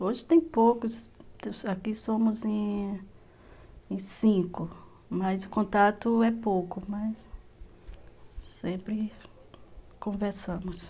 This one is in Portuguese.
Hoje tem poucos, aqui somos em cinco, mas o contato é pouco, né, mas sempre conversamos.